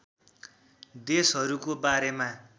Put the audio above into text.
देशहरूको बारेमा